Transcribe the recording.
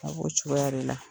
A b'o cogoya de.